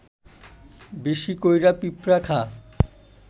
বেশি কইরা পিঁপড়া খা